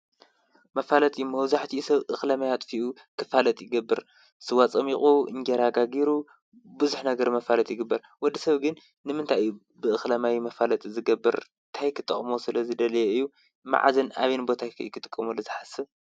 መፋለጢ መብዛሕቲኡ ሰብ እኽለማይ ኣጥፊኡ ክፋለጥ ይገብር። ስዋ ፀሚቁ እንጀራ ጋጊሩ ብዙሕ ነገር መፋለጢ ይግበር። ወድ ሰብ ግን ንምንታይ እዩ ብእኽለማይ መፋለጢ ዝገብር? እንታይ ክጠቅሞ ስለዝደለዮ እዩ? መዓዝን ኣበይን ከ ቦታ ክጥቀመሉ ዝሓስብ ?